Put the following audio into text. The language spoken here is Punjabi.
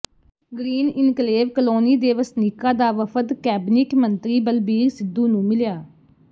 ਗਰੀਨ ਇਨਕਲੇਵ ਕਲੋਨੀ ਦੇ ਵਸਨੀਕਾਂ ਦਾ ਵਫ਼ਦ ਕੈਬਨਿਟ ਮੰਤਰੀ ਬਲਬੀਰ ਸਿੱਧੂ ਨੂੰ ਮਿਲਿਆ